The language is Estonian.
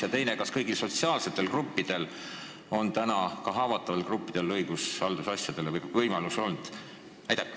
Ja teiseks: kas kõigil sotsiaalsetel gruppidel, ka haavatavatel gruppidel, on võimalus haldusasjas kohtusse pöörduda?